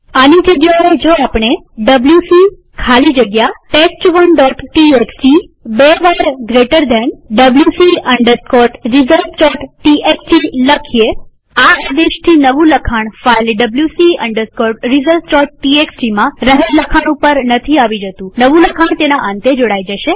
આની જગ્યાએ જો આપણે ડબ્લ્યુસી ખાલી જગ્યા test1ટીએક્સટી બે વાર જમણા ખૂણાવાળો કૌંસ wc resultstxt આ આદેશથી નવું લખાણ ફાઈલ wc resultstxtમાં રહેલ લખાણ ઉપર નથી આવી જતુંનવું લખાણ તેના અંતે જોડાઈ જાય છે